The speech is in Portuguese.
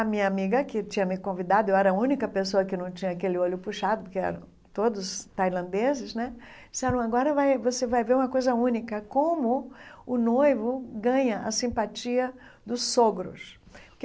A minha amiga, que tinha me convidado, eu era a única pessoa que não tinha aquele olho puxado, porque eram todos tailandeses né, disseram, agora vai você vai ver uma coisa única, como o noivo ganha a simpatia dos sogros.